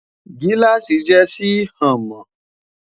giláasi jé Si hàn mọ